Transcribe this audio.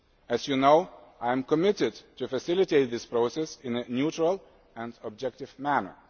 As you know, I am committed to facilitating this process in a neutral and objective manner.